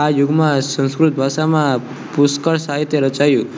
આ યુગમાં સંસ્કૃત ભાષામાં પુષ્કળ સાહિત્ય રચાયું